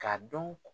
K'a dɔn